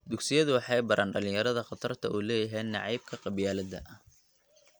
Dugsiyadu waxay baraan dhalinyarada khatarta uu leeyahay nacaybka qabyaaladda.